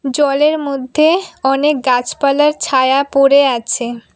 জলের মধ্যে অনেক গাছপালার ছায়া পড়ে আছে।